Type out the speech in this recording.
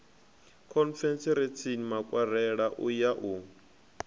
khonferentsini makwarela u ya u